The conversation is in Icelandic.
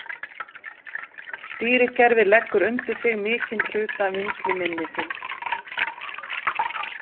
Stýrikerfið leggur undir sig mikinn hluta vinnsluminnisins.